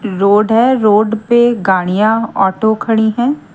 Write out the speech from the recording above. Road है road पे गाड़ियां ऑटो खड़ी हैं।